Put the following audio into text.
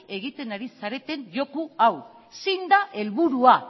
egiten ari zareten joko hau zein da helburua